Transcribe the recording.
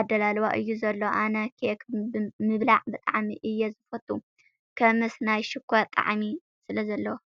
ኣዳላልዋ እዩ ዘሎ ። ኣነ ኬክ ምብላዕ ብጣዕሚ እየ ዝፈቱ ከምስ ናይ ሽኮር ጣዕሚ ስለዘለዎ።